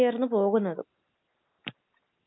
അത് ആൻസി ഇങ്ങനെ കേട്ടിട്ടില്ലേ